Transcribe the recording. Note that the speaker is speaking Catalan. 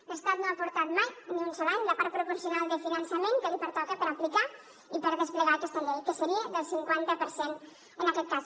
l’estat no ha aportat mai ni un sol any la part proporcional de finançament que li pertoca per aplicar i per desplegar aquesta llei que seria del cinquanta per cent en aquest cas